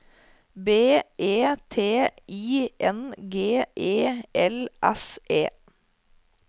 B E T I N G E L S E